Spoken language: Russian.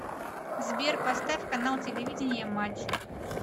сбер поставь канал телевидения матч